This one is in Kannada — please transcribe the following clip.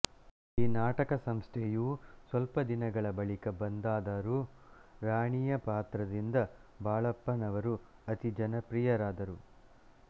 ಈನಾಟಕ ಸಂಸ್ಥೆಯೂ ಸ್ವಲ್ಪದಿನಗಳ ಬಳಿಕ ಬಂದಾದರೂ ರಾಣಿಯ ಪಾತ್ರದಿಂದ ಬಾಳಪ್ಪನವರು ಅತಿ ಜನಪ್ರಿಯರಾದರು